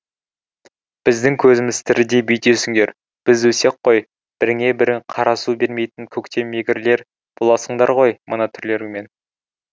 біздің көзіміз тіріде бүйтесіңдер біз өлсек қой біріңе бірің қара су бермейтін көктемегірлер боласыңдар ғой мына түрлеріңмен